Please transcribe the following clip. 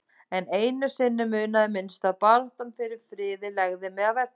En einu sinni munaði minnstu að baráttan fyrir friði legði mig að velli.